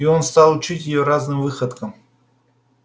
и он стал учить её разным выходкам